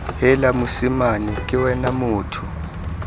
heela mosimane ke wena motho